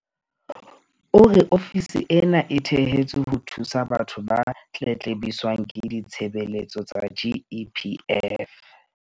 O re ofisi ena e thehetswe ho thusa batho ba tletlebiswang ke ditshebeletso tsa GEPF.